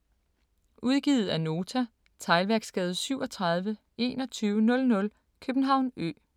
Udgivet af Nota Teglværksgade 37 2100 København Ø